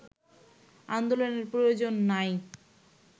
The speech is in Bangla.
আন্দোলনের প্রয়োজন নাই